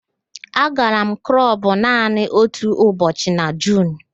Agara m klọbụ naanị otu ụbọchị​ na Juun